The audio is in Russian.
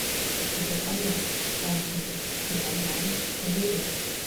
заказать один килограмм помидор